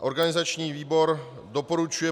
Organizační výbor doporučuje